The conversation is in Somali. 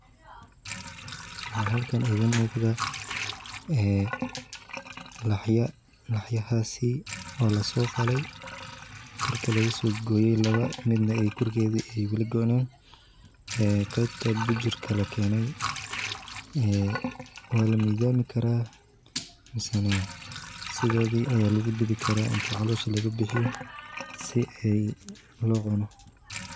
Waxaa halkan iiga muuqda laxya lasoo qale on my kurka laga soo gooye qeebta bujurka ayaa la keene waa la mizaami karaa ama sidooda ayaa lagu dubi karaa si loo cuno.